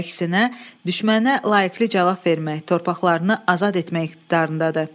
Əksinə, düşmənə layiq bir cavab vermək, torpaqlarını azad etmək iqtidarındadır.